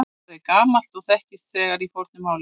Það er gamalt og þekkist þegar í fornu máli.